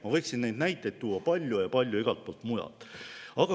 Ma võiksin neid näiteid tuua palju ja palju ka igalt poolt mujalt.